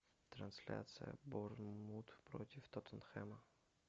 трансляция борнмут против тоттенхэма